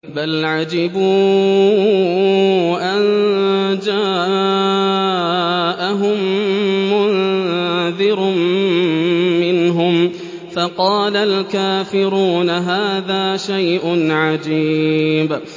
بَلْ عَجِبُوا أَن جَاءَهُم مُّنذِرٌ مِّنْهُمْ فَقَالَ الْكَافِرُونَ هَٰذَا شَيْءٌ عَجِيبٌ